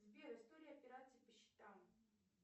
сбер история операций по счетам